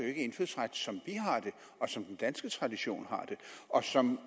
ikke indfødsret som vi har det og som den danske tradition har det og som